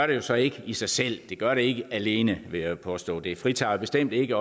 det jo så ikke i sig selv det gør det ikke alene vil jeg påstå det fritager bestemt ikke